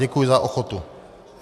Děkuji za ochotu.